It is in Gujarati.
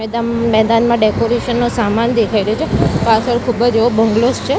મેદમ મેદાનમાં ડેકોરેશન નો સામાન દેખાય રહ્યો છે પાછળ ખૂબજ એવો બંગલોઝ છે.